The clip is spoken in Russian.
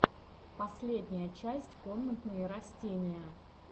последняя часть комнатные растения